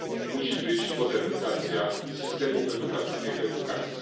musi być modernizacja systemów edukacyjnych, samej edukacji.